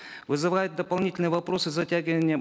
вызывает дополнительные вопросы затягивание